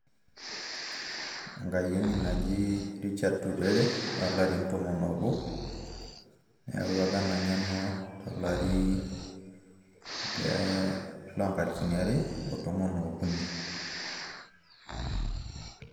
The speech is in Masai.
Enkayieni naji Richard Turere, olarin tomon obo, eewua apa ena ng'eno tolari pe lonkalifuni are otomon okuni.